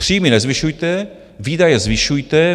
Příjmy nezvyšujte, výdaje zvyšujte.